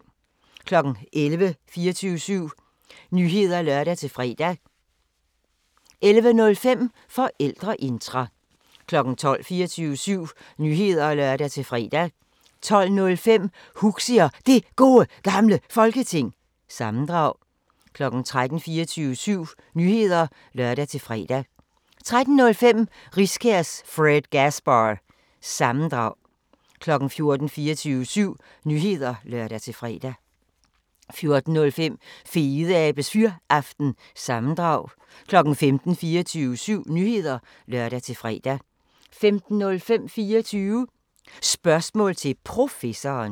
11:00: 24syv Nyheder (lør-fre) 11:05: Forældreintra 12:00: 24syv Nyheder (lør-fre) 12:05: Huxi og Det Gode Gamle Folketing – sammendrag 13:00: 24syv Nyheder (lør-fre) 13:05: Riskærs Fredgasbar- sammendrag 14:00: 24syv Nyheder (lør-fre) 14:05: Fedeabes Fyraften – sammendrag 15:00: 24syv Nyheder (lør-fre) 15:05: 24 Spørgsmål til Professoren